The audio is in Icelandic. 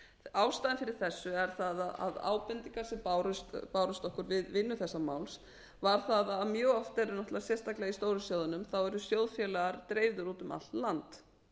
ástæðan fyrir þessu er sú að ábendingar sem bárust okkur við vinnu þessa máls voru að mjög oft eru náttúrlega sérstaklega í stóru sjóðunum þá eru sjóðfélaga dreifðir út um allt land